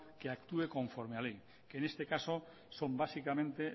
que actúe conforme a la ley en este caso son básicamente